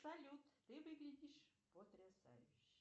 салют ты выглядишь потрясающе